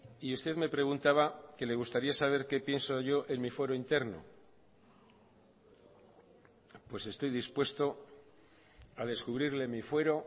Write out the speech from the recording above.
y usted me preguntaba que le gustaría saber qué pienso yo en mi fuero interno pues estoy dispuesto a descubrirle mi fuero